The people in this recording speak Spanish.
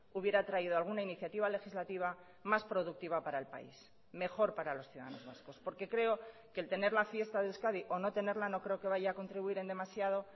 hubiera traído alguna iniciativa legislativa más productiva para el país mejor para los ciudadanos vascos porque creo que el tener la fiesta de euskadi o no tenerla no creo que vaya a contribuir en demasiado